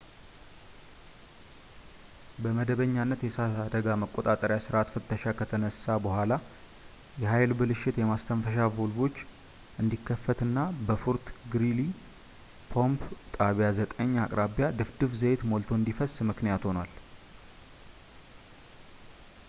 በመደበኛነት የእሳት አደጋ መቆጣጠሪያ ሥርዓት ፍተሻ ከተነሳ በኋላ የኃይል ብልሽት የማስተንፈሻ ቫልቮች እንዲከፈትና በፎርት ግሪሊ ፓምፕ ጣቢያ 9 አቅራቢያ ድፍድፍ ዘይት ሞልቶ እንዲፈስ ምክንያት ሆኗል